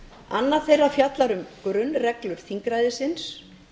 annað þeirra fjallar um grunnreglur þingræðisins